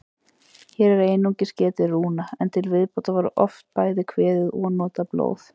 Hér er einungis getið rúna, en til viðbótar var oft bæði kveðið og notað blóð.